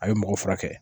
A ye mɔgɔ furakɛ